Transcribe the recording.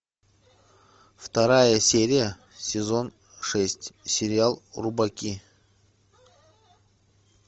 вторая серия сезон шесть сериал рубаки